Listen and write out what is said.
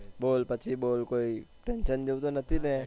બોલ પછી બોલ કોઈ tension જેવું તો નથી ને